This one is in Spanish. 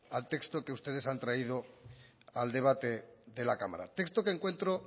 al texto que ustedes han traído al debate de la cámara texto que encuentro